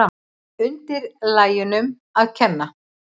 Undirlægjunum að kenna.